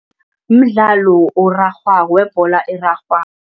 Umdlalo orarhwako webholo erarhwako.